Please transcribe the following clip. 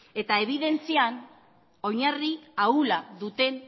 eta ebidentzian oinarri ahulak duten